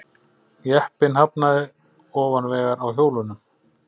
Jeppinn hafnaði ofan vegar á hjólunum